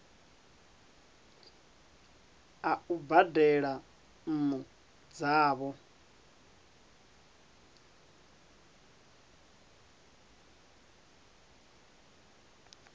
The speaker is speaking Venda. a u badela nnu dzavho